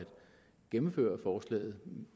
gennemføre forslaget